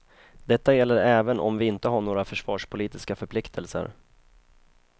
Detta gäller även om vi inte har några försvarspolitiska förpliktelser.